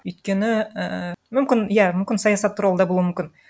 өйткені ііі мүмкін иә мүмкін саясат туралы да болуы мүмкін